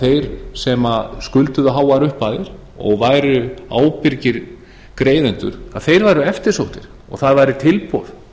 þeir sem skulduðu háar upphæðir og væru ábyrgir greiðendur þeir væru eftirsóttir og það væri tilboð